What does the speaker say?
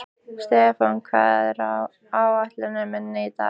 Stefán, hvað er á áætluninni minni í dag?